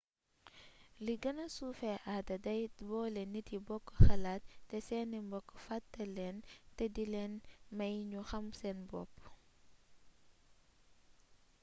lu gëna suufé aada day boolé nit yi bokk xalaat té séni mbokk fattélén té dilén may ñu xam seen bopp